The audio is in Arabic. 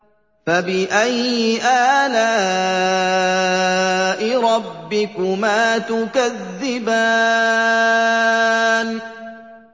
فَبِأَيِّ آلَاءِ رَبِّكُمَا تُكَذِّبَانِ